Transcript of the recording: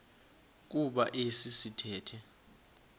kuba esi sithethe